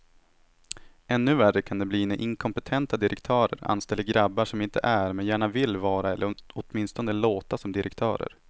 Ännu värre kan det bli när inkompetenta direktörer anställer grabbar som inte är, men gärna vill vara eller åtminstone låta som direktörer.